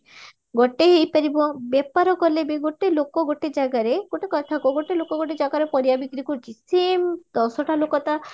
ଗୋଟେ ହେଇପାରିବା ବେପାର କାଲେ ବ ଗୋଟେ ଲୋକ ଗୋଟେ ଜାଗାରେ ଗୋଟେ କଥା କୁହ ଗୋଟେ ଲୋକ ଗୋଟେ ଜାଗାରେ ପରିବା ବିକ୍ରି କରୁଚି ସିଏ ଦଶଟା ଲୋକ ତା